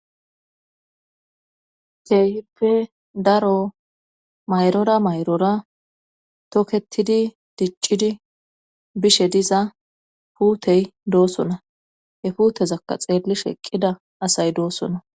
Teehippe daro mayrora mayrora toketidi diccidi bishe diza puutey doosona he puutezakka xeelli sheqqida asay doosona